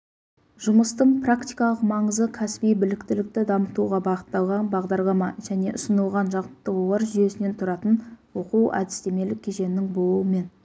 жұмыстың практикалық маңызы кәсіби біліктілікті дамытуға бағытталған бағдарлама және ұсынылған жаттығулар жүйесінен тұратын оқуәдістемелік кешеннің болуымен